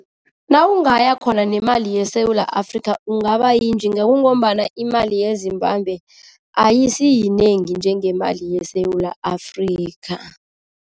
Nawungaya khona nemali yeSewula Afrika ungaba yinjinga kungombana imali yeZimbabwe ayisiyinengi njengemali yeSewula Afrika.